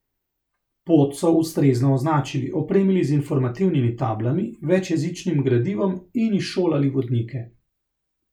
Pot so ustrezno označili, opremili z informativnimi tablami, večjezičnim gradivom in izšolali vodnike.